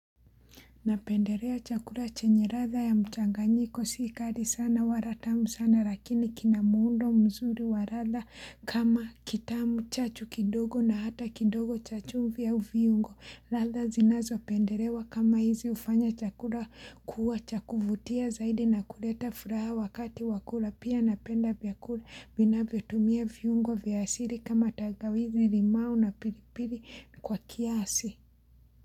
Napenderea chakura chenye radha ya mchanganyiko sikari sana waratamu sana lakini kinamuundo mzuri wa ratha kama kitamu chachu kidogo na hata kidogo chachu mvia uviungo ratha zinazo penderewa kama hizi ufanya chakura kuwa cha kuvutia zaidi na kuleta furaha wakati wakula pia napenda biakula binavyo tumia viungo viasiri kama tangawizi limau na piripiri kwa kiasi.